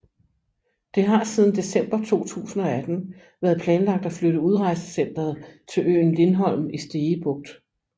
Det har siden december 2018 været planlagt at flytte udrejsecenteret til øen Lindholm i Stege Bugt